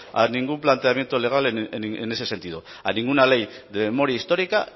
a ningún planteamiento legal en ese sentido a ninguna ley de memoria histórica